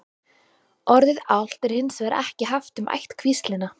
orðið álft er hins vegar ekki haft um ættkvíslina